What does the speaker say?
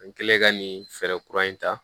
N kɛlen ka nin fɛɛrɛ kura in ta